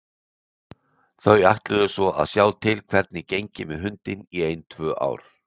Þau ætluðu svo að sjá til hvernig gengi með hundinn í ein tvö ár.